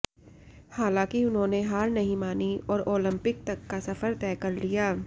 हालांकि उन्होंने हार नहीं मानी और ओलिंपिक तक का सफर तय कर लिया